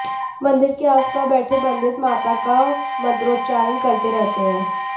मंदिर के आसपास बैठे पंडित माता का मंत्रोच्चारण करते रहते हैं